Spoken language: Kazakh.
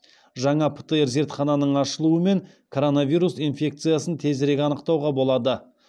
жаңа птр зертхананың ашылуымен коронавирус инфекциясын тезірек анықтауға болады